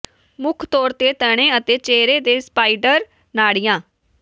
ਮੁੱਖ ਤੌਰ ਤੇ ਤਣੇ ਅਤੇ ਚਿਹਰੇ ਤੇ ਸਪਾਈਡਰ ਨਾੜੀਆਂ